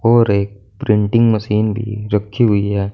और एक printing machine भी रखी हुई है।